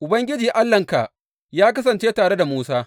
Ubangiji Allahnka ya kasance tare da Musa.